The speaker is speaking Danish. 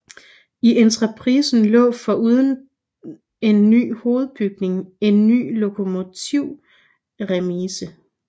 I entreprisen lå foruden en ny hovedbygning en ny lokomotivremise